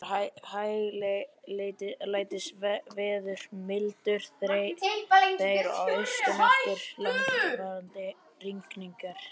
Það var hæglætisveður, mildur þeyr að austan eftir langvarandi rigningar.